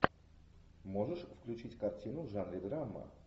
можешь включить картину в жанре драма